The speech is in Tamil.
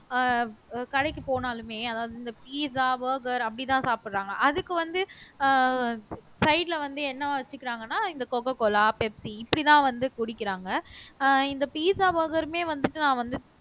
ஆஹ் கடைக்குப் போனாலுமே அதாவது இந்த pizza burger அப்படித்தான் சாப்பிடறாங்க அதுக்கு வந்து ஆஹ் side ல வந்து என்ன வெச்சுக்கறாங்கன்னா இந்த coca cola Pepsi இப்படித்தான் வந்து குடிக்கிறாங்க ஆஹ் இந்த pizza burger மே வந்துட்டு நான் வந்து